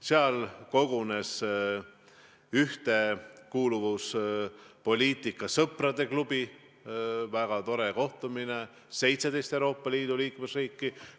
Seal kogunes ühtekuuluvuspoliitika sõprade klubi, oli väga tore kohtumine, kus osales 17 Euroopa Liidu liikmesriiki.